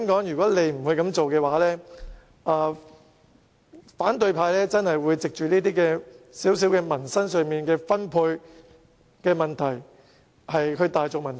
如果不這樣做的話，反對派真的會藉着這些民生小問題，例如分配，大造文章。